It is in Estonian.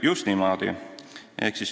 Just niimoodi.